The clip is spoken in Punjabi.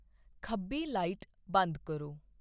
ਖੱਬੀ ਲਾਈਟ ਬੰਦ ਕਰੋ